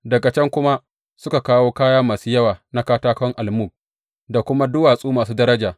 Daga can kuma suka kawo kaya masu yawa na katakon almug, da kuma duwatsu masu daraja.